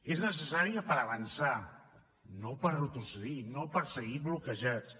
és necessària per avançar no per retrocedir no per seguir bloquejats